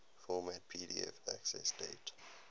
format pdf accessdate